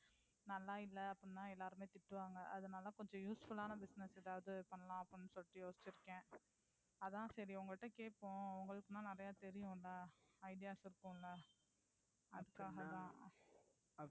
நல்லா இல்ல அப்படினா எல்லாருமே திட்டுவாங்க. அதனால கொஞ்சம் useful ஆன business ஏதாவது பண்ணலாம்னு அப்படினு சொல்லிட்டு யோசிச்சுயிருக்கேன் அதான் சரி உங்ககிட்ட கேப்போம்னு. உங்களுக்கான நிறயை தெரியும்மில்ல idea இருக்கும்மில்ல.